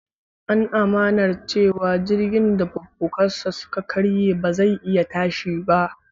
An amannar cewa jirgin da fukafukansa suka karye ba zai iya tashi ba.